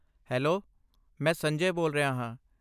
Hello, ਮੈਂ ਸੰਜੇ ਬੋਲ ਰਿਹਾ ਹਾਂ।